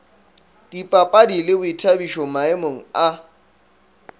dipapadi le boithabišo maemong a